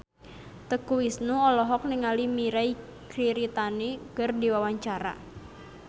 Teuku Rassya olohok ningali Mirei Kiritani keur diwawancara